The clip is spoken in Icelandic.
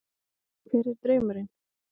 Hver er draumurinn?